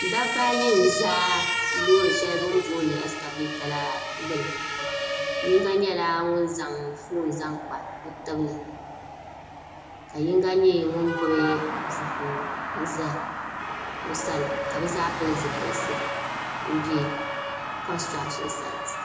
dabba ayi n ʒɛ loori shɛli bini booni ɛskavɛta la gbuni yino nyɛla ŋun zaŋ foon zaŋ kpa o tibili ka yinga nyɛ ŋun gbubi buku ʒɛ o sani ka bi zaa pili zipiliti n bɛ konstirashin saait